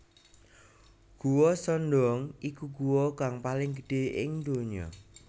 Guwa Son Doong iku guwa kang paling gedhe ing ndonya